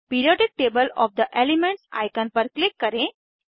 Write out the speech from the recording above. periodic table of the elements icon पर click करें